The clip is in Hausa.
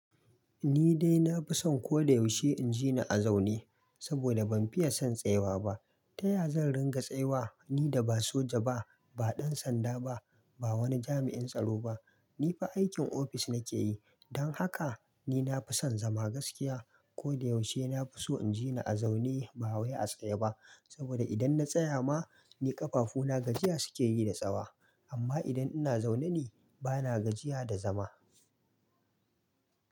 Ni dai na fi son ko da yaushe in jini a zaune saboda ban fiye son tsayawa ba. Taya zan ringa tsayawa ni da ba soja ba, ba ɗan sanda ba, ba wani jami'in tsaro ba. Ni fa aikin ofis nake yi. Don haka ni na fi son zama gaskiya. Ko da yaushe na fi so in jini a zaune ba wai a tsaye ba. Saboda idan na tsaya ma ni ƙafafuna gajiya suke yi da tsayiwa. Amma idan ina zaune ni bana gajiya da zama.